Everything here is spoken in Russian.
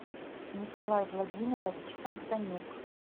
николай владимирович самсонюк